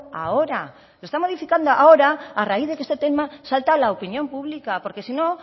ahora lo está modificando ahora a raíz de que este tema salta a la opinión pública porque si no